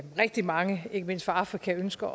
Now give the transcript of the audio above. rigtig mange ikke mindst fra afrika ønsker